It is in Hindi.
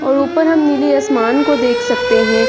और ऊपर हम नीले आसमान को देख सकते हैं।